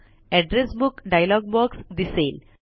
address book dialog box दिसेल